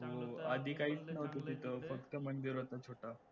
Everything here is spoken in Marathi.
हो आधी काहीच नव्हतं तिथं फक्त मंदिर होतं छोटं